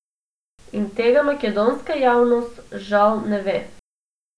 In tega makedonska javnost žal ne ve.